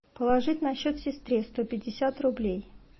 положить на счет сестре сто пятьдесят рублей